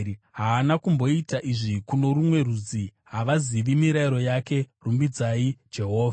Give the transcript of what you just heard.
Haana kumboita izvi kuno rumwe rudzi; havazivi mirayiro yake. Rumbidzai Jehovha.